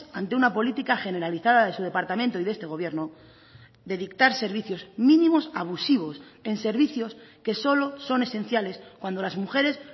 ante una política generalizada de su departamento y de este gobierno de dictar servicios mínimos abusivos en servicios que solo son esenciales cuando las mujeres